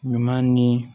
Ɲuman ni